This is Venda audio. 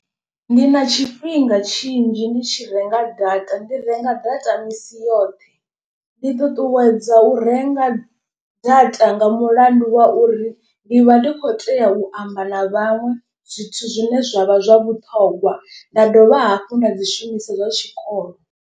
Ndi na tshifhinga tshinzhi ndi tshi renga data ndi renga data misi yoṱhe. Ndi ṱuṱuwedza u renga data nga mulandu wa uri ndi vha ndi khou tea u amba na vhaṅwe zwithu zwine zwa vha zwa vhuṱhongwa. Nda dovha hafhu nda dzi shumisa zwa tshikolo.